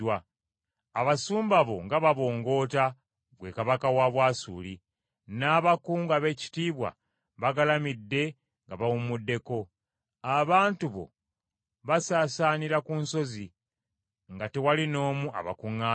Abasumba bo nga babongoota, ggwe kabaka wa Bwasuli, n’abakungu abeekitiibwa bagalamidde nga bawumuddeko. Abantu bo basaasaanira ku nsozi nga tewali n’omu abakuŋŋaanya.